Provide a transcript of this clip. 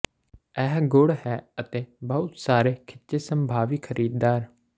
ਇਹ ਗੁਣ ਹੈ ਅਤੇ ਬਹੁਤ ਸਾਰੇ ਖਿੱਚੇ ਸੰਭਾਵੀ ਖਰੀਦਦਾਰ